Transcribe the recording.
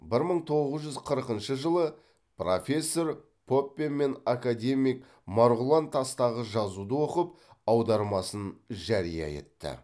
бір мың тоғыз жүз қырқыншы жылы профессор поппе мен академик марғұлан тастағы жазуды оқып аудармасын жария етті